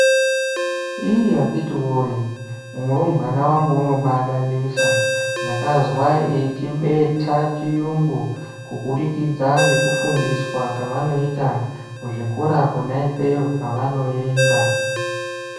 Iiiii akhiti woye, murumbwana wangu unoba adadisa, ndakazwa eichibetha chiyungu kubudikidza ngekufundiswa kwavanoita kuzvikora kwona ikweyo kwavanoenda.